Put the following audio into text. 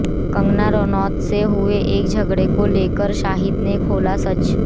कंगना रनौत से हुए झगड़े को लेकर शाहिद ने खोला सच